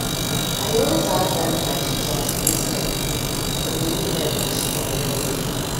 i dey always add garlic and ginger to wetin i dey cook dem dey make my body strong well well